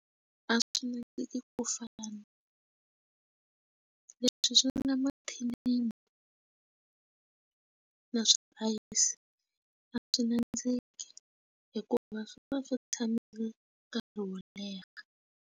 A swi nandziki ku fana leswi swi nga mathinini na swa ayisi a swi nandziki hikuva swi va swi tshame nkarhi wo leha.